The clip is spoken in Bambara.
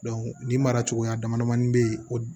nin mara cogoya damadamani bɛ ye o